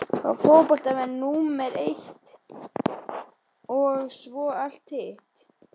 Fá fótboltann númer eitt og svo allt hitt?